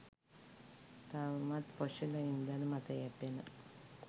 තවමත් ෆොසිල ඉන්ධන මත යැපෙන